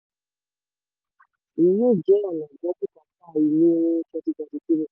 rọ́lákẹ́: èyí yóò jẹ́ ọ̀nà gbọ́ bùkátà ilé ní twenty twenty three